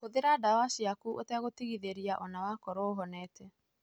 Hũthĩra ndawa ciaku ũtagũtigithĩria, onawakorwo ũhonete.